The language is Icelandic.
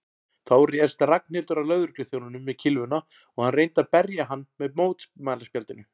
Þá réðst Ragnhildur að lögregluþjóninum með kylfuna og reyndi að berja hann með mótmælaspjaldinu.